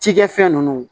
Cikɛfɛn ninnu